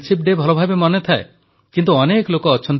• ଭାରତୀୟ ସମ୍ବିଧାନ ପ୍ରତ୍ୟେକ ନାଗରିକଙ୍କ ଅଧିକାର ଓ ସମ୍ମାନକୁ ସୁରକ୍ଷା ଦେଇଛି